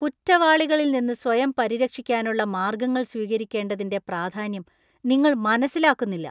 കുറ്റവാളികളിൽ നിന്ന് സ്വയം പരിരക്ഷിക്കാനുള്ള മാർഗങ്ങൾ സ്വീകരിക്കേണ്ടതിന്‍റെ പ്രാധാന്യം നിങ്ങൾ മനസ്സിലാക്കുന്നില്ല.